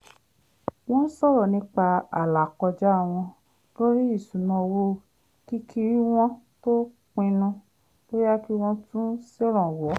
wọ́n sọ̀rọ̀ nípa àlàkọjá wọn lórí ìṣúnná owó kí kí wọ́n tó pinnu bóyá kí wọ́n tún ṣèrànwọ́